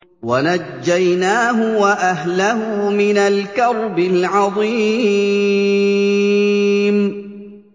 وَنَجَّيْنَاهُ وَأَهْلَهُ مِنَ الْكَرْبِ الْعَظِيمِ